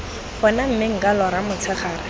gone mme nka lora motshegare